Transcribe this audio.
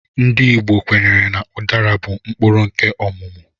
Ndị Igbo kwenyere na udara bụ mkpụrụ nkè ọmụmụ